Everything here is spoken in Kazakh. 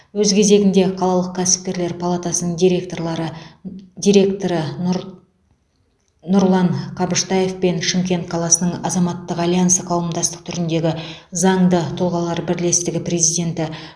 өз кезегінде қалалық кәсіпкерлер палатасының директорлары директоры нұр нұрлан қабыштаев пен шымкент қаласының азаматтық альянсы қауымдастық түріндегі заңды тұлғалар бірлестігі президенті